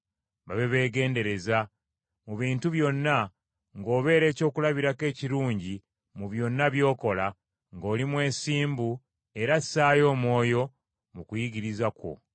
mu bintu byonna, ng’obeera ekyokulabirako ekirungi mu byonna by’okola, ng’oli mwesimbu era assaayo omwoyo mu kuyigiriza kwo.